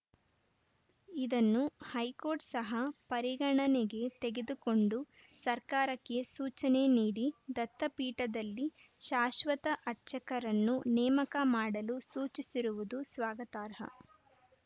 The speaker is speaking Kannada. ಇದನ್ನು ಹೈಕೋರ್ಟ್‌ ಸಹ ಪರಿಗಣನೆಗೆ ತೆಗೆದುಕೊಂಡು ಸರ್ಕಾರಕ್ಕೆ ಸೂಚನೆ ನೀಡಿ ದತ್ತಪೀಠದಲ್ಲಿ ಶಾಶ್ವತ ಅರ್ಚಕರನ್ನು ನೇಮಕ ಮಾಡಲು ಸೂಚಿಸಿರುವುದು ಸ್ವಾಗತಾರ್ಹ